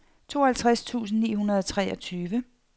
tooghalvtreds tusind ni hundrede og treogtyve